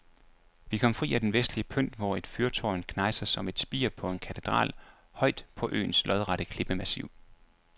Vi kom fri af den vestlige pynt, hvor et fyrtårn knejser som et spir på en katedral højt på øens lodrette klippemassiv.